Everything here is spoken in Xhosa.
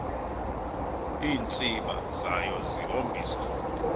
iintsiba zayo zihombisa